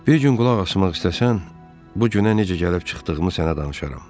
Bir gün qulaq asmaq istəsən, bu günə necə gəlib çıxdığımı sənə danışaram.